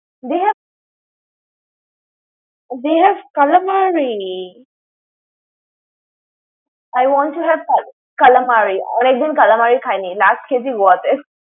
they have they have Calamari! । I want to have that Calamari । অনেক দিন Calamari খাইনি। last খেয়েছি Goa তে।